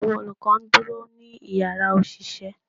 Awọn olukọ ń duro ni ìyára oṣiṣẹ